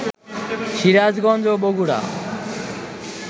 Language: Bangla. সিরাজগঞ্জ ও বগুড়া